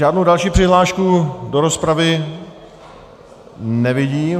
Žádnou další přihlášku do rozpravy nevidím.